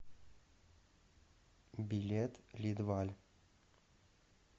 билет лидваль